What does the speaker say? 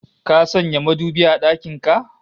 Ka sanya madubi a dakin ka?